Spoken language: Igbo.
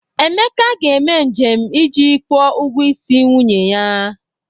Emeka ga-eme njem iji kwụọ ụgwọ isi nwunye ya